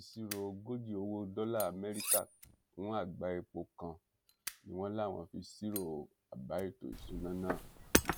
ìṣirò ogójì owó dọlà amẹríkà fún àgbá epo kan ni wọn láwọn fi ṣírò àbá ètò ìṣúná náà